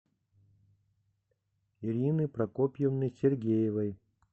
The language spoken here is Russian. ирины прокопьевны сергеевой